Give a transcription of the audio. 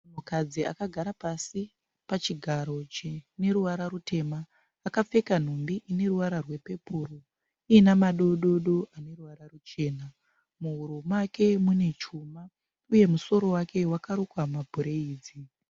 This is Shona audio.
Mukadzi akagara pasi pachigaro chine ruvara rutema. Akapfeka nhumbi ine ruvara rwepepuru iine madododo ane ruvara ruchena. Muhuro make mune chuma uye musoro wake wakarukwa mabhureidzi.